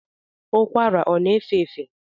Ụkwara ọ na-efe efe?